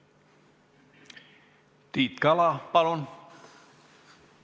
Tiit Kala, palun!